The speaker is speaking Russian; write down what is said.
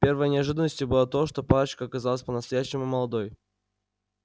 первой неожиданностью было то что парочка оказалась по-настоящему молодой